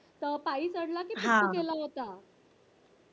पायी चढला कि कस गेला होतात